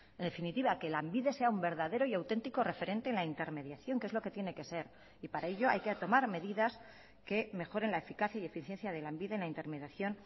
en definitiva que lanbide sea un verdadero y auténtico referente en la intermediación que es lo que tiene que ser y para ello hay que tomar medidas que mejoren la eficacia y eficiencia de lanbide en la intermediación